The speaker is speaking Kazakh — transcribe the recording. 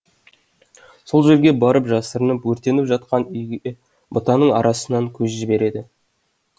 сол жерге барып жасырынып өртеніп жатқан үйге бұтаның арасынан көз жібереді